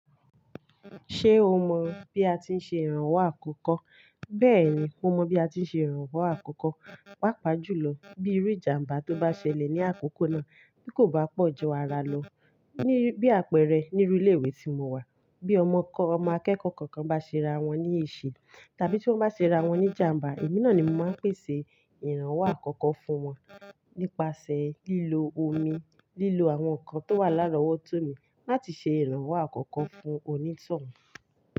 Ṣé o mọ bí a ti ń ṣe ìrànwọ́ àkọ́kọ́? Bẹ́ẹ̀ni, mo mọ bí a ti ń ṣe ìrànwọ́ àkọ́kọ́. Pápá jù lọ bí irú ìjàmbá tó bá ṣẹlẹ̀ ní àkókò náà kí kò bá pọ̀jẹwọ ara lọ. Bí àpẹẹrẹ nínu ilé ìwé tí mo wà, bí ọmọ kẹ́kọ̀ọ́ kan bá ṣe ra wọ́n ní èṣì tàbí tí wọ́n bá ṣe ra wọ́n ní ìjàmbá, èmi náà ni mo máa ń pèsè ìrànwọ́ àkọ́kọ́ fún wọn nípasẹ̀ lílo omi, lílo àwọn ǹkan tó wà lára ọwọ́ tó mi láti ṣe ìrànwọ́ àkọ́kọ́ fún onítọ̀hún.